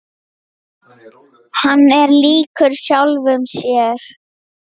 Hann er líkur sjálfum sér.